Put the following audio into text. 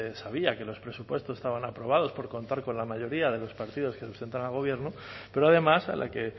sabía que los presupuestos estaban aprobados por contar con la mayoría de los partidos que sustentan al gobierno pero además a la que